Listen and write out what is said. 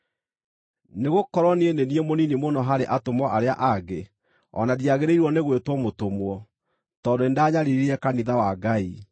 Nĩgũkorwo niĩ nĩ niĩ mũnini mũno harĩ atũmwo arĩa angĩ, o na ndiagĩrĩirwo nĩ gwĩtwo mũtũmwo, tondũ nĩndanyariirire kanitha wa Ngai.